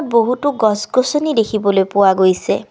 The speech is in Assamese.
বহুতো গছ-গছনি দেখিবলে পোৱা গৈছে।